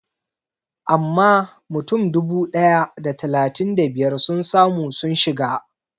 Amma mutum dubu ɗaya da talatin da biyar sun samu sun shiga